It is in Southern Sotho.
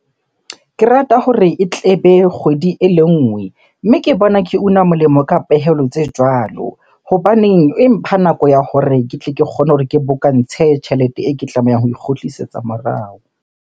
Ke rata hore e tlebe kgwedi ele nngwe. Mme ke bona ke una molemo ka pehelo tse jwalo. Hobaneng e mpha nako ya hore ke tle ke kgone hore ke bokantshe tjhelete e ke tlamehang ho e kgutlisetsa morao.